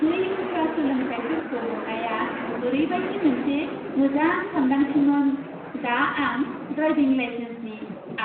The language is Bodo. बै उफ्रा सोलोंथायफोरखौ मोन्नाया ओरैबायदि मोनसे मोजां सानदांथिमोन! दा आं ड्राइभिं लाइसेन्सनि